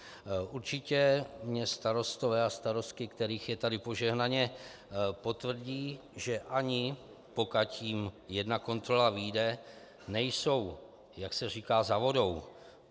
Určitě mi starostové a starostky, kterých je tady požehnaně, potvrdí, že ani pokud jim jedna kontrola vyjde, nejsou, jak se říká, za vodou.